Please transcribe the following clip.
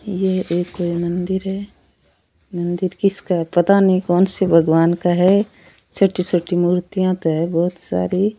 ये एक कोई मंदिर है मंदिर किसका है पता नहीं कौनसे भगवान का है छोटी छोटी मूर्तियां तो है बहुत सारी।